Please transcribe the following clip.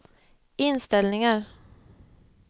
inställningar